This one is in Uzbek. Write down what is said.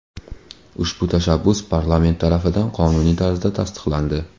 Ushbu tashabbus parlament tarafidan qonuniy tarzda tasdiqlandi.